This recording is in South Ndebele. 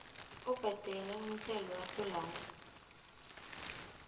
obhadela umthelo kasolanga